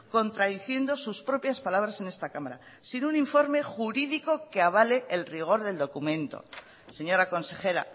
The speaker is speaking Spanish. contradiciendo sus propias palabras en esta cámara sin un informe jurídico que avale el rigor del documento señora consejera